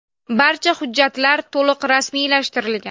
Barcha hujjatlar to‘liq rasmiylashtirilgan.